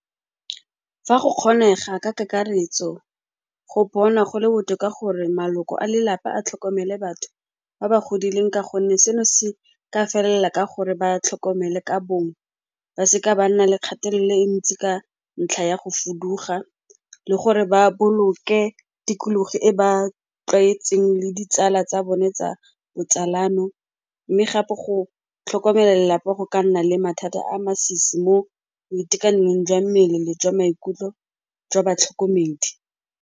Fa go kgonega ka kakaretso, go bona go le botoka gore maloko a lelapa a tlhokomele batho ba ba godileng ka gonne seno se ka felela ka gore ba tlhokomele ka bongwe, ba se ka ba nna le kgatelelo e ntsi ka ntlha ya go fuduga, le gore ba boloke tikologo e ba tlwaetseng le ditsala tsa bone tsa botsalano mme gape go tlhokomela lelapa go ka nna le mathata a masisi mo boitekanelong jwa mmele le jwa maikutlo jwa batlhokomedi.